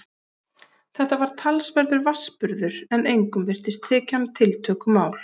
Þetta var talsverður vatnsburður en engum virtist þykja hann tiltökumál.